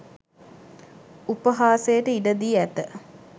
උපහාසයට ඉඩ දී ඇත